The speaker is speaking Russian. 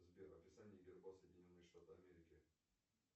сбер описание герба соединенные штаты америки